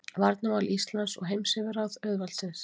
Varnarmál Íslands og heimsyfirráð auðvaldsins.